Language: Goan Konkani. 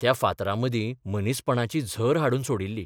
त्या फातरामदीं मनीसपणाची झर हाडून सोडिल्ली.